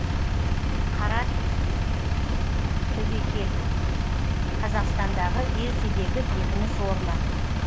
қарат төбекел қазақстандағы ертедегі бекініс орны